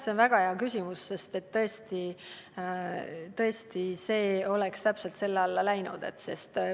See on väga hea küsimus, sest tõesti, see olukord oleks täpselt selle sätte alla läinud.